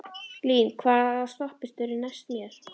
Lín, hvaða stoppistöð er næst mér?